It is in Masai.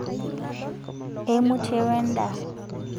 eimutie we endaa